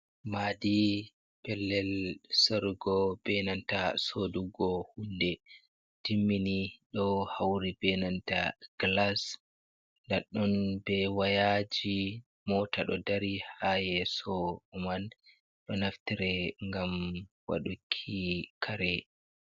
Maadi pellel sarugo be nanta soodugo hunde timmini. Ɗo hawri be nanta gilas daɗɗon be wayaaji ,moota ɗo dari haa yeeso man, ɗo naftire ngam waɗuki kare.